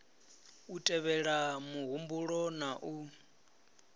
u tevhelela muhumbulo na u